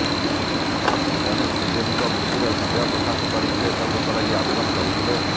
ତେଣୁ ଶ୍ରୀଦେବୀଙ୍କ ମୃତ୍ୟୁରେ ସନ୍ଦେହପ୍ରକାଶ କରି ସେ ତଦନ୍ତ ଲାଗି ଆବେଦନ କରିଥିଲେ